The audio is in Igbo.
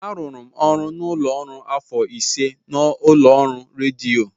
Arụrụ ọrụ n'ụlọ ọrụ afọ ise n'ụlọ ọrụ rediyo.